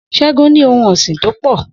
S̩é̩gun ní ohun ò̩sìn tó pò̩